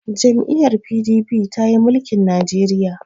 jam'iyyar P.D.P ta yi mulikin Najeriya